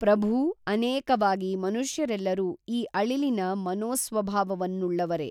ಪ್ರಭೂ ಅನೇಕವಾಗಿ ಮನುಷ್ಯರೆಲ್ಲರೂ ಈ ಅಳಿಲಿನ ಮನೋಸ್ವಭಾವವವನ್ನುಳ್ಳವರೇ